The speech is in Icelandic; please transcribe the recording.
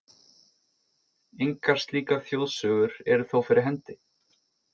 Engar slíkar þjóðsögur eru þó fyrir hendi.